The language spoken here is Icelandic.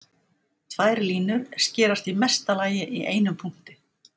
Tvær línur skerast í mesta lagi í einum punkti.